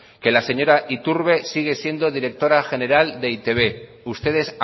que la señora iturbe sigue siendo la directora general de e i te be ustedes